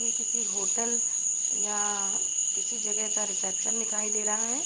ये किसी होटल या किसी जगह का रीसेप्शन दिखाई दे रहा है।